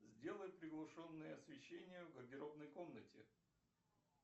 сделай приглушенное освещение в гардеробной комнате